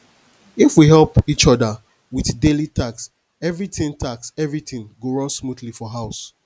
if we help each other with daily tasks everything tasks everything go run smoothly for house